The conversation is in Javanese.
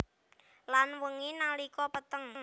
Lan wengi nalikane peteng